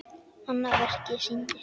Annað verkið sýndi